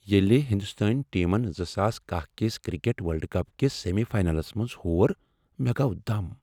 ییٚلہ ہندوستٲنۍ ٹیمن زٕ ساس کہہَ کس کرکٹ ورلڈ کپ کِس سیمی فاینلس منٛز ہور، مےٚ گوٚو دم